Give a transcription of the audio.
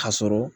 Ka sɔrɔ